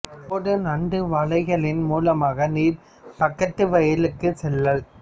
pad நண்டு வளைகளின் மூலமாக நீர் பக்கத்து வயலுக்குச் செல்லல்